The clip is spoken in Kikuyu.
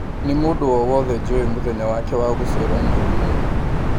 Nĩ mũndũ o wothe jũĩ mũthenya wake wa gũciarwo mweri ũyũ